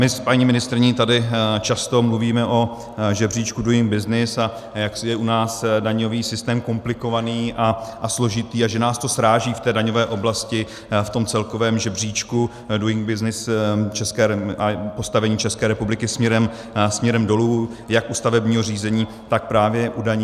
My s paní ministryní tady často mluvíme o žebříčku Doing Business, a jak je u nás daňový systém komplikovaný a složitý a že nás to sráží v té daňové oblasti v tom celkovém žebříčku Doing Business, a postavení České republiky směrem dolů jak u stavebního řízení, tak právě u daní.